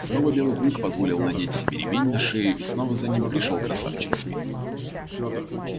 снова белый клык позволил надеть себе ремень па шею и снова за ним пришёл красавчик смит